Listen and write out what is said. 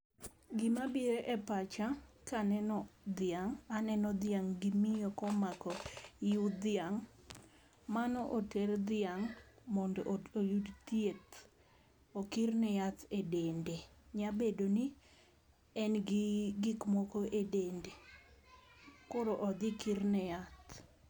Gima biro e pacha kaneno dhiang' aneno dhiang' gi miyo komako iu dhiang'. Mano oter dhiang' mondo oyud thieth okirne yath e dende . Nya bedo ni en gi gik moko e dende koro odhi kirne yath.